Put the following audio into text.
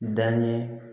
Daɲɛ